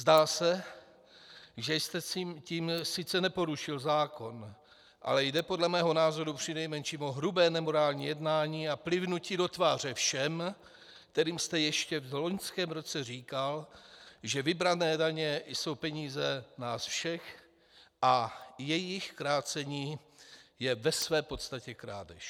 Zdá se, že jste tím sice neporušil zákon, ale jde podle mého názoru přinejmenším o hrubé nemorální jednání a plivnutí do tváře všem, kterým jste ještě v loňském roce říkal, že vybrané daně jsou peníze nás všech a jejich krácení je ve své podstatě krádež.